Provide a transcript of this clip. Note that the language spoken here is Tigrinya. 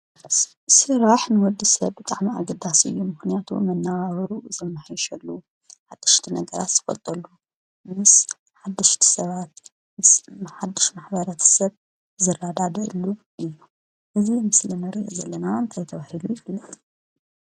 ስራኅ ንወዲ ሰብ ጥዕሚ ኣግዳስዩ ምህንያቱ ምናዋበሩ ዘመሒሸሉ ሓድሽቲ ነገራት ፈልጠሉ ምስ ሓድሽ ሰባት ሓሽ ማኅበራት ሰብ ዘላዳዶሉ ኢዩ እዝ ምስሊ ነር ዘለና እንይተብህሪሉ ይፍለጥ ።